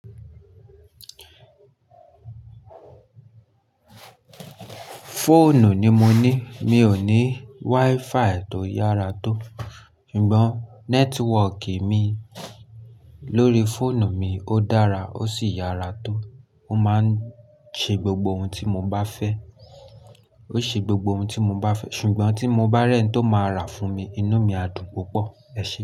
Fóònù ni mo ní, mi ò ní WiFi tó yára tó, ṣùgbọ́n nẹ́tíwọ̀kì mi lórí fóònù mi ó dára ó sì yára tó. Ó máa ń ṣe gbogbo ohun tí mo bá fẹ́, ó ṣe gbogbo ohun tí mo bá fẹ́ ṣùgbọ́n tí mo bá rẹ̀ ẹ́n tó máa rà fún mi, inú mi á dùn púpọ̀. Ẹṣẹ.